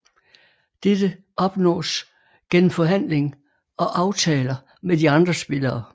Dette opnås gennem forhandling og aftaler med de andre spillere